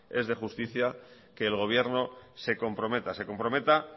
es de justicia que el gobierno se comprometa se comprometa